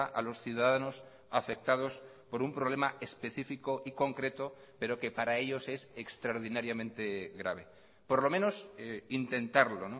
a los ciudadanos afectados por un problema específico y concreto pero que para ellos es extraordinariamente grave por lo menos intentarlo